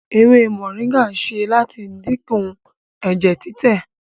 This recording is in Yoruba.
ewé moringa ṣe láti dínkù ẹjẹ titẹ.